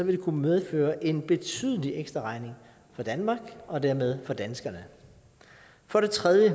det kunne medføre en betydelig ekstraregning for danmark og dermed for danskerne for det tredje